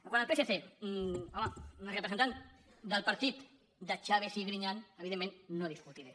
quant al psc home amb la representant del partit de chaves i griñán evidentment no discutiré